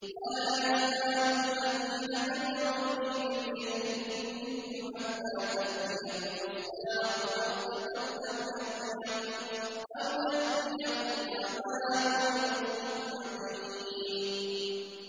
وَلَا يَزَالُ الَّذِينَ كَفَرُوا فِي مِرْيَةٍ مِّنْهُ حَتَّىٰ تَأْتِيَهُمُ السَّاعَةُ بَغْتَةً أَوْ يَأْتِيَهُمْ عَذَابُ يَوْمٍ عَقِيمٍ